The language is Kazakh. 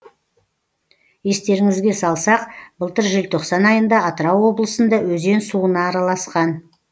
естеріңізге салсақ былтыр желтоқсан айында атырау облысында өзен суына араласқан